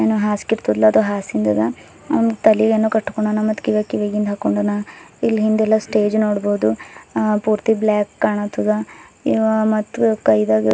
ಹಾಸಿಂದದ ಅವನ್ ತಲಿ ಎನ್ನೋ ಕಟ್ಕೊಂಡನ ಮತ್ತ್ ಕಿವಯಾಗ ಕಿವಿಗಿಂದ್ ಹಾಕೊಂಡನ ಇಲ್ ಹಿಂದೆ ಎಲ್ಲಾ ಸ್ಟೇಜ್ ನೋಡಬಹದು ಅ ಪೂರ್ತಿ ಬ್ಲಾಕ್ ಕಾಣತ್ತದ ಇವ ಮತ್ತ್ ಕೈದಾಗ--